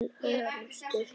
Til orustu!